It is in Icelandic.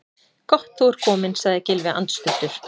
Gott þú ert kominn- sagði Gylfi andstuttur.